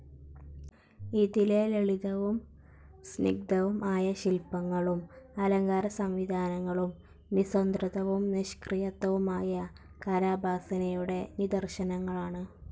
ഇതിലെ ലളിതവും സ്നിഗ്ധവും ആയ ശില്പങ്ങളും അലങ്കാരസംവിധാനങ്ങളും നിസ്വതന്ത്രവും നിഷ്ക്രിയത്വവുമായ കലോപാസനയുടെ നിദർശനങ്ങളാണ്.